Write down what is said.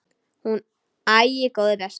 Hún: Æi, góði besti.!